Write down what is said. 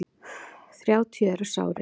Þrjátíu eru sárir.